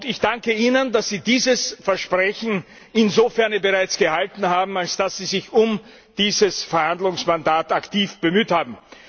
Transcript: Ich danke Ihnen, dass Sie dieses Versprechen bereits insofern gehalten haben, als Sie sich um dieses Verhandlungsmandat aktiv bemüht haben.